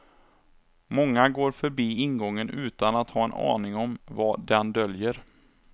Många går förbi ingången utan att ha en aning om vad den döljer.